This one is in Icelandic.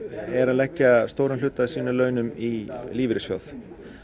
er að leggja stóran hluta af sínum launum í lífeyrissjóð